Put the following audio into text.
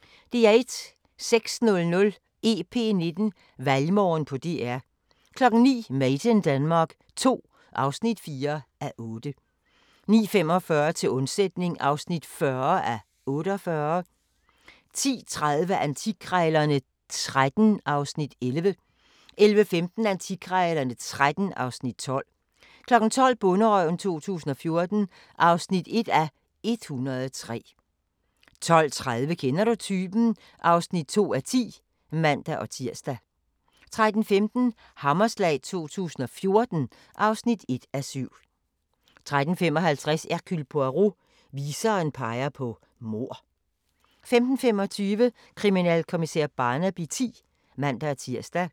06:00: EP19: Valgmorgen på DR 09:00: Made in Denmark II (4:8) 09:45: Til undsætning (40:48) 10:30: Antikkrejlerne XIII (Afs. 11) 11:15: Antikkrejlerne XIII (Afs. 12) 12:00: Bonderøven 2014 (1:103) 12:30: Kender du typen? (2:10)(man-tir) 13:15: Hammerslag 2014 (1:7) 13:55: Hercule Poirot: Viseren peger på mord 15:25: Kriminalkommissær Barnaby X (man-tir)